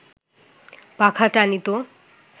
পাখা টানিত